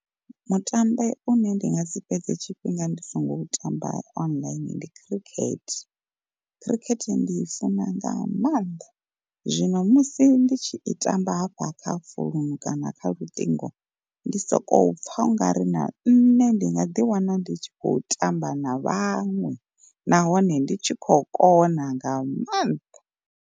Mutambe une ndi nga si fhedze tshifhinga ndi songo u tamba online ndi khirikhethe, khirikhethe ndi i funa nga maanḓa. Zwino musi ndi tshi i tamba hafha kha founu kana kha luṱingo ndi soko pfa ungari na nṋe ndi nga ḓi wana ndi tshi khou tamba na vhaṅwe nahone ndi tshi kho kona nga mannḓa.